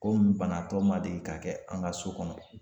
Ko nin banatɔ ma deli ka kɛ an ka so kɔnɔ.